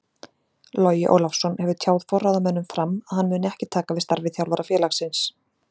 Logi Ólafsson hefur tjáð forráðamönnum FRAM að hann muni ekki taka við starfi þjálfara félagsins.